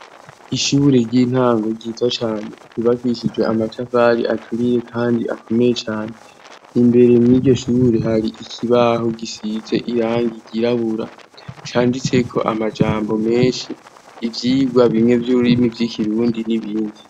Ishure ry'intango ryiza cane ryubakishijwe amatafari aturiye kandi akomeye cane. Imbere muriryo shure hari ikibaho gisize irangi ryirabura. Canditseko amajambo menshi ivyigwa bimwe vy'ururimi vy'ikirundi n'ibindi.